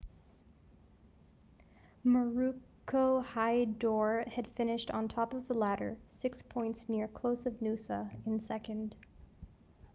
maroochydore had finished on top of the ladder six points clear of noosa in second